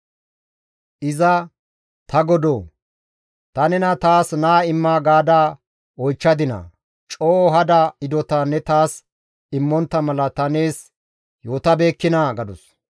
Iza, «Ta godoo! Ta nena taas naa imma gaada oychchadinaa? Coo hada hidota ne taas immontta mala ta nees yootabeekkinaa?» gadus.